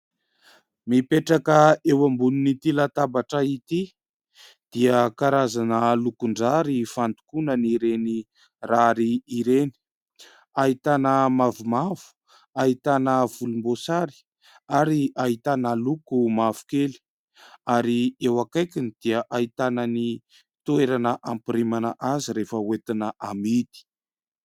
Mipetraka eo ambonin'ny ity latabatra ity dia karazana lokon-drary fandokoana ireny rary ireny, ahitana mavomavo, ahitana volomboasary ary ahitana loko mavokely ary eo akaikiny dia ahitana ny toerana ampirimana azy rehefa hoentina hamidy.